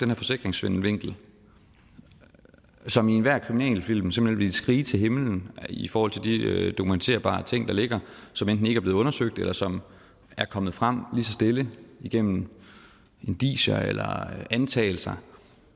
her forsikringssvindelvinkel som i enhver kriminalfilm simpelt hen vil skrige til himlen i forhold til de dokumenterbare ting der ligger som enten ikke er blevet undersøgt eller som er kommet frem lige så stille igennem indicier eller antagelser